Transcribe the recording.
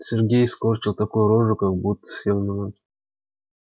сергей скорчил такую рожу как будто съел лимон